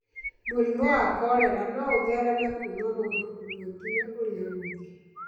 Mũrimũ wa kolera no ũthereme kuuma mũndũ ũmwe nginya ũrĩa ũngĩ.